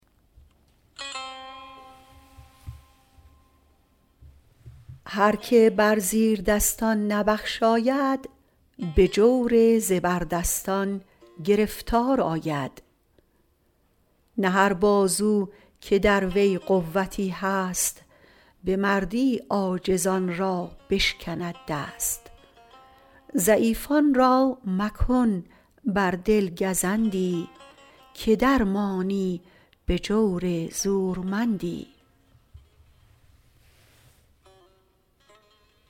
هر که بر زیردستان نبخشاید به جور زبردستان گرفتار آید نه هر بازو که در وی قوتی هست به مردی عاجزان را بشکند دست ضعیفان را مکن بر دل گزندی که در مانی به جور زورمندی